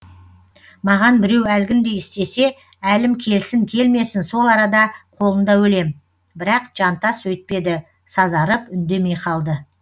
маған біреу әлгіндей істесе әлім келсін келмесін сол арада қолында өлем бірақ жантас өйтпеді сазарып үндемей қалды